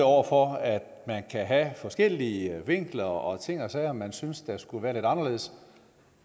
over for at man kan have forskellige vinkler og ting og sager man synes skulle være lidt anderledes